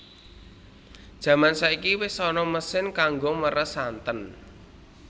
Jaman saiki wis ana mesin kanggo meres santen